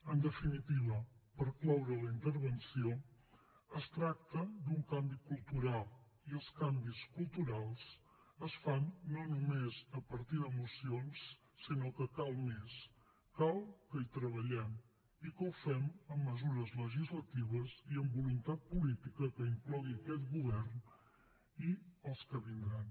en definitiva per cloure la intervenció es tracta d’un canvi cultural i els canvis culturals es fan no només a partir de mocions sinó que cal més cal que hi treballem i que ho fem amb mesures legislatives i amb voluntat política que inclogui aquest govern i els que vindran